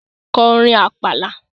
Ko orin Àpàlà!